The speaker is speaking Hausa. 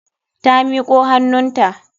Ta miko hannunta.